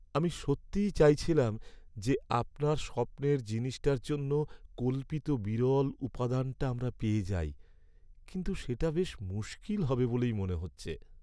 আমি সত্যিই চাইছিলাম যে, আপনার স্বপ্নের জিনিসটার জন্য কল্পিত বিরল উপাদানটা আমরা পেয়ে যাই, কিন্তু সেটা বেশ মুশকিল হবে বলেই মনে হচ্ছে।